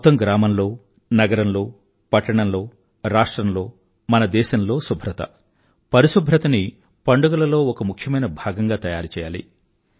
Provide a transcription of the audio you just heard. మొత్తం గ్రామంలో నగరంలో పట్టణంలో రాష్ట్రంలో మన దేశంలో శుభ్రత పరిశుభ్రతని పండుగలలో ఒక ముఖ్యమైన భాగంగా తయారుచెయ్యాలి